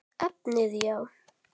Efnið já?